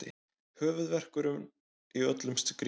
Höfuðverkurinn í öllum skrítlum.